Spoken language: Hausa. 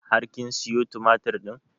Har kin sayo tumatur ɗin?